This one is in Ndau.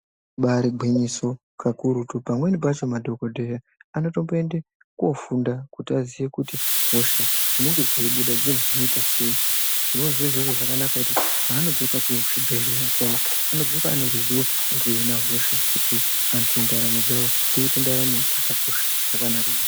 Ibari gwinyiso pamweni pacho madhokodheya anotoenda kofunda kuti vaziye kuti Hosha dzinonga dzeibuda dzinohinika sei dzinonga zviri zviro zvakanaka panodzoka kuzvibhedhlera anodzoka ane ruzivo rekuhina hosha kuti antu ndaramo dzawo dziite dzaramo dzakanaka maningi.